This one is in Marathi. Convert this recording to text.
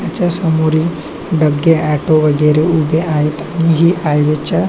याच्या समोरील डगे ऑटो वेगेरे उभे आहेत आणि ही हायवेच्या.